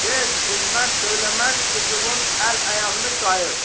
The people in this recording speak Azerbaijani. Get, dimə, söyləməz qızının əl-ayağını qayır.